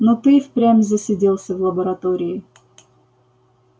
но ты и впрямь засиделся в лаборатории